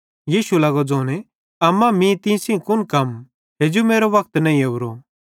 यीशु लगो ज़ोने अम्मा मीं तीं सेइं कुन कम हेजू मेरो वक्त नईं ओरो